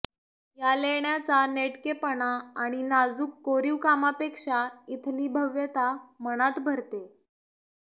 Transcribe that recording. या लेण्याचा नेटकेपणा आणि नाजूक कोरीवकामापेक्षा इथली भव्यता मनात भरते